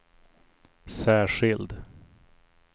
särskild